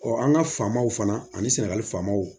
an ka faamaw fana ani sɛnɛgali faamaw